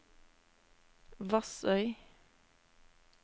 Vassøy